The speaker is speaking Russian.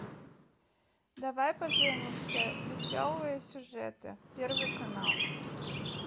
давай поженимся веселые сюжеты первый канал